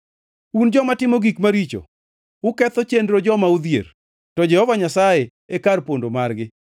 Un joma timo gik maricho, uketho chenro joma odhier, to Jehova Nyasaye e kar pondo margi.